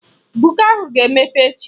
Buka ahụ ga-emepe echi